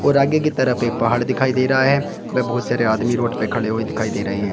और आगे की तरह पर पहाड़ दिखाई दे रहा है। वे बहुत सारे आदमी रोड पे खड़े हुए दिखाई दे रहे हैं।